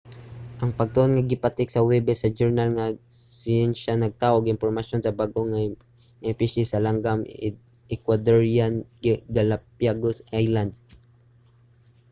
ang pagtuon nga gipatik sa huwebes sa journal nga siyensya nagtaho og impormasyon sa bag-o nga mga espisye sa langgam sa ecuadorean galápagos islands